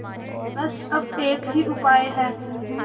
बस अब एक ही उपाय है